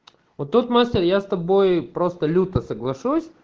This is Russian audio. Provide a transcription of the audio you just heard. вот тут мастер я с тобой просто люто соглашусь